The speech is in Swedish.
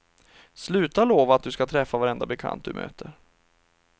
Sluta lova att du ska träffa varenda bekant du möter.